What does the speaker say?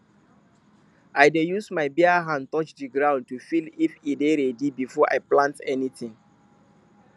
i dey use my bare hand touch the ground to feel if e dey ready before i plant anything